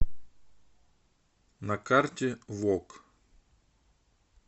на карте вок